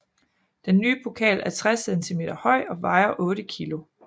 Den nye pokal er 60 cm høj og vejer 8 kg